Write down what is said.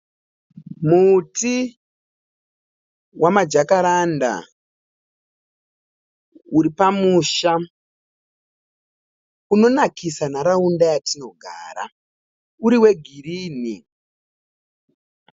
Muti wamajakaranda uri pamusha, unonakisa nharaunda yatinogara, uri wegirinhi.